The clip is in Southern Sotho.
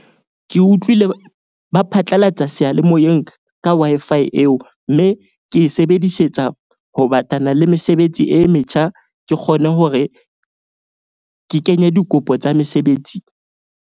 Ke utlwile ba phatlalatsa seyalemoyeng ka Wi-Fi Fi eo. Mme ke e sebedisetsa ho batlana le mesebetsi e metjha. Ke kgone hore ke kenye dikopo tsa mesebetsi.